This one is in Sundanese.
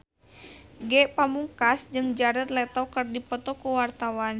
Ge Pamungkas jeung Jared Leto keur dipoto ku wartawan